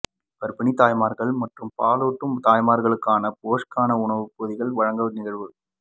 கர்ப்பிணி தாய்மார்கள் மற்றும் பாலுாட்டும் தாய்மார்களுக்கான போஷாக்கான உணவுப் பொதிகள் வழங்கும் நிகழ்வு